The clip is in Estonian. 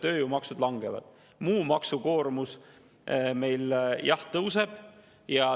Tööjõumaksud langevad, muu maksukoormus meil, jah, tõuseb.